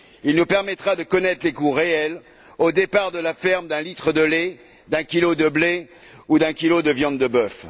Il nous permettra de connaître les coûts réels, au départ de la ferme, d'un litre de lait, d'un kilo de blé ou d'un kilo de viande de bœuf.